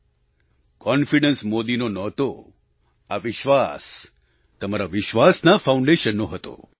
આત્મવિશ્વાસ મોદીનો નહોતો આ વિશ્વાસ તમારા વિશ્વાસના ફાઉન્ડેશનનો હતો